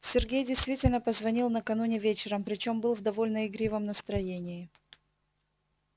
сергей действительно позвонил накануне вечером причём был в довольно игривом настроении